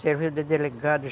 Servia de delegado.